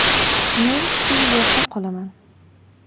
“Men shu yerda qolaman”.